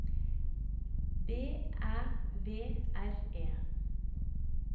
B Æ V R E